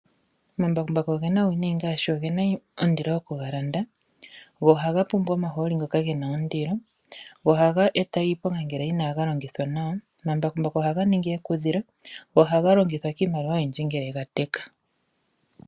Omambakumbaku ogena uuwinayi ngaashi ogena ondilo okugalanda go ohaga pumbwa omahooli ngoka gena ondilo go ohaga eta iiponga ngele inaga longithwa nawa. Omambakumbaku ohaga ningi ekudhilo go ohaga longithwa kiimaliwa oyindji ngele ga teka.